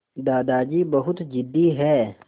दादाजी बहुत ज़िद्दी हैं